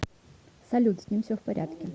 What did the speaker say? салют с ним все в порядке